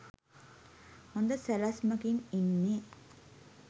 හොඳ සැලැස්මකින් ඉන්නේ